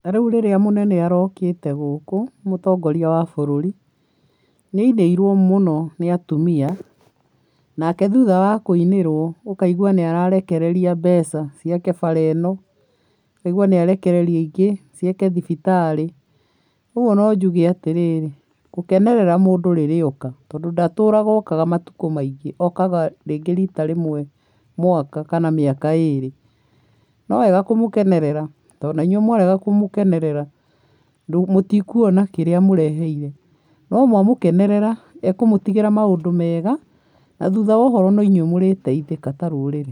Ta rĩu rĩrĩa mũnene arokĩte gũkũ, mũtongoria wa bũrũri, nĩ ainĩirwo mũno nĩ atumia, nake thutha wa kũinĩrwo, ũkaigua nĩ ararekereria mbeca ciake bara ĩno, ũkaigua nĩ arekereria ingĩ ciake thibitarĩ, ũguo no njuge atĩrĩrĩ, gũkenerera mũndũ rĩrĩa oka tondũ ndatũraga okaga matukũ maingĩ, okaga rĩngĩ rita rĩmwe mwaka kana mĩaka ĩrĩ, no wega kũmũkenerera, tondũ na inyuĩ mwarega kũmũkenerera, mũtikuona kĩrĩa amũreheire, no mwamũkenerera, ekũmũtigĩra maũndũ mega, na thutha wa ũhoro, no inyuĩ mũrĩteithĩka ta rũrĩrĩ.